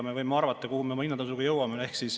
Me võime arvata, kuhu me oma hinnatõusuga jõuame.